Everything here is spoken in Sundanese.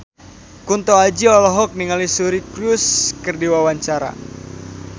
Kunto Aji olohok ningali Suri Cruise keur diwawancara